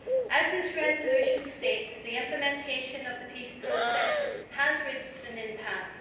As this resolution states, the implementation of the peace process has reached an impasse'.